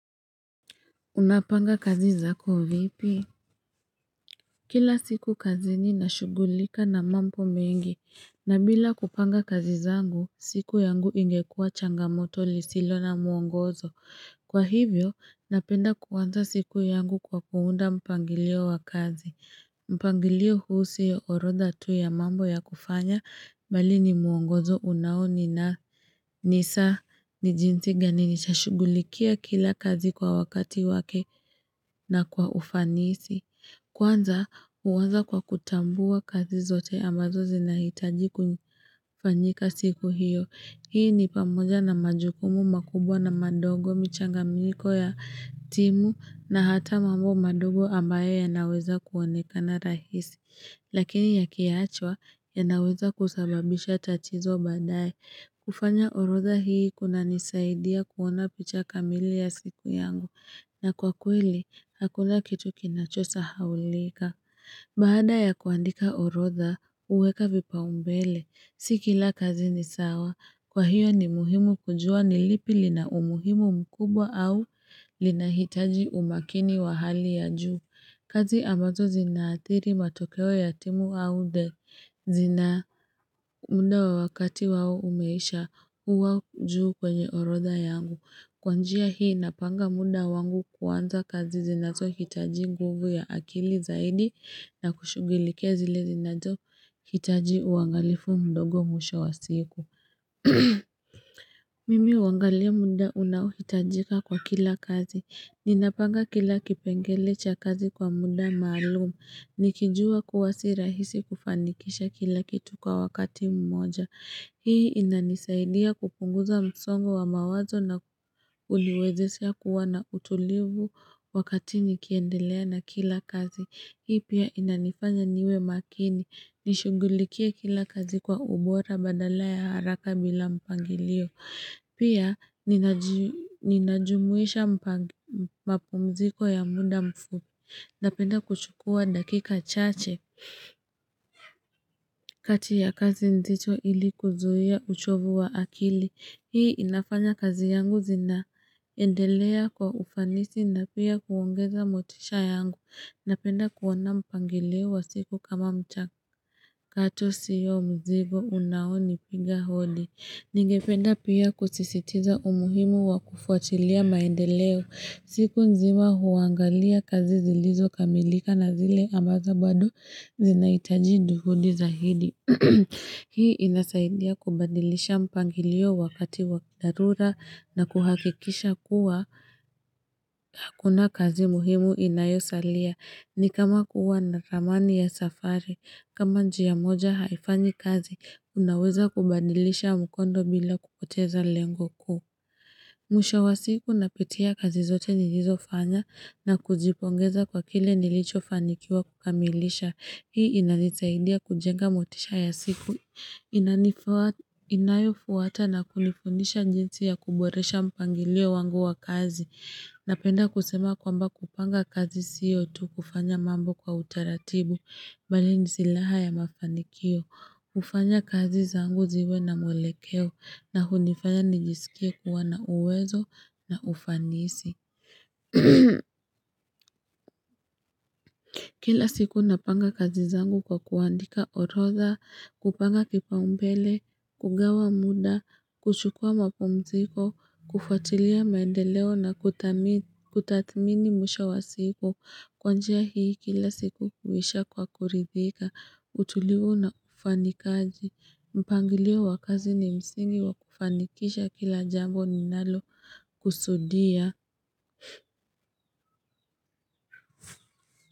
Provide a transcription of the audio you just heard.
Unapanga kazi zako vipi? Kila siku kazini na shugulika na mambo mengi, na bila kupanga kazi zangu, siku yangu ingekua changamoto lisilo na mwongozo. Kwa hivyo, napenda kuanza siku yangu kwa kuunda mpangilio wa kazi. Mpangilio huu sio orodha tu ya mambo ya kufanya bali ni mwongozo unao nina nisa ni jinsi gani nitashugulikia kila kazi kwa wakati wake na kwa ufanisi Kwanza huanza kwa kutambua kazi zote ambazo zinahitaji kufanyika siku hiyo Hii ni pamoja na majukumu makubwa na madogo michanga miko ya timu na hata mambo madogo ambaye yanaweza kuonekana rahisi. Lakini yakiachwa yanaweza kusababisha tatizo badaye. Kufanya orodha hii kuna nisaidia kuona picha kamili ya siku yangu. Na kwa kweli, hakuna kitu kinacho sahaulika. Baada ya kuandika orodha, huweka vipaumbele. Si kila kazi ni sawa. Kwa hiyo ni muhimu kujua ni lipi lina umuhimu mkubwa au lina hitaji umakini wa hali ya juu. Kazi ambazo zinaathiri matokeo ya timu au de zina muda wa wakati wao umeisha huwa juu kwenye orodha yangu. Kwanjia hii napanga muda wangu kuanza kazi zinazo hitaji nguvu ya akili zaidi na kushugulikia zile zinato hitaji uangalifu mdogo mwisho wa siku. Mimi huangalia muda unaohitajika kwa kila kazi. Ninapanga kila kipengele cha kazi kwa munda maalumu. Nikijua kuwa si rahisi kufanikisha kila kitu kwa wakati mmoja. Hii inanisaidia kupunguza msongo wa mawazo na uliwezesha kuwa na utulivu wakati nikiendelea na kila kazi. Hii pia inanifanya niwe makini. Nishugulikie kila kazi kwa ubora badala ya haraka bila mpangilio. Pia, ninajumuisha mapumziko ya muda mfupi. Napenda kuchukua dakika chache kati ya kazi nzito ili kuzuia uchovu wa akili. Hii inafanya kazi yangu zinaendelea kwa ufanisi na pia kuongeza motisha yangu. Napenda kuona mpangilio wa siku kama mchakato sio mzigo unaoni piga holi. Ningependa pia kusisitiza umuhimu wa kufuatilia maendeleo. Siku nzima huangalia kazi zilizo kamilika na zile ambazo bado zinahitaji juhudi zahidi. Hii inasaidia kubandilisha mpangilio wakati wadharura na kuhakikisha kuwa hakuna kazi muhimu inayosalia. Ni kama kuwa na ramani ya safari, kama njia moja haifanyi kazi, unaweza kubandilisha mkondo bila kupoteza lengo kuu. Mwisho wa siku napitia kazi zote nilizofanya na kujipongeza kwa kile nilicho fanikiwa kukamilisha. Hii inanisaidia kujenga motisha ya siku, inayofuata na kunifundisha jinsi ya kuboresha mpangilio wangu wa kazi. Napenda kusema kwamba kupanga kazi siyo tu kufanya mambo kwa utaratibu, bali ni silaha ya mafanikio, hufanya kazi zangu ziwe na mwelekeo, na hunifanya nijisikie kuwa na uwezo na ufanisi. Kila siku napanga kazi zangu kwa kuandika orodha, kupanga kipaumbele, kugawa muda, kuchukua mapumziko, kufatilia maendeleo na kutathmini mwisho wa siku, kwanjia hii kila siku huisha kwa kuridhika, utulivu na ufanikaji, mpangilio wa kazi ni msingi wa kufanikisha kila jambo ninalo kusudia.